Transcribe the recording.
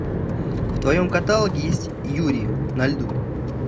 в твоем каталоге есть юри на льду